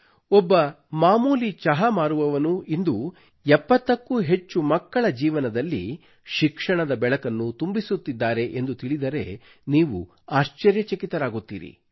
ಒಬ್ಬ ಮಾಮೂಲಿ ಚಹಾ ಮಾರುವವನು ಇಂದು 70 ಕ್ಕೂ ಹೆಚ್ಚು ಮಕ್ಕಳ ಜೀವನದಲ್ಲಿ ಶಿಕ್ಷಣದ ಬೆಳಕನ್ನು ತುಂಬಿಸುತ್ತಿದ್ದಾರೆ ಎಂದು ತಿಳಿದರೆ ನೀವು ಆಶ್ಚರ್ಯಚಕಿತರಾಗುತ್ತೀರಿ